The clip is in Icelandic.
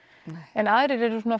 en aðrir eru svona